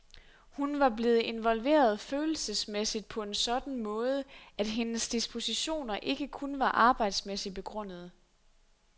Hun var blevet involveret følelsesmæssigt på en sådan måde, at hendes dispositioner ikke kun var arbejdsmæssigt begrundede.